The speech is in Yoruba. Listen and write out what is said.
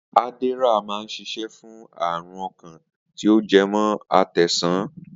Adderall máa ń ṣiṣẹ́ fún ààrùn ọkàn tí ó jẹ mọ́ àtẹ́ńsàn